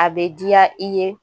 A bɛ diya i ye